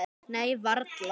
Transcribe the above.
Nei, varla.